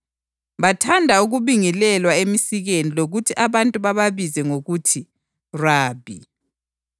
bathanda ukubingelelwa emisikeni lokuthi abantu bababize ngokuthi ‘Rabi.’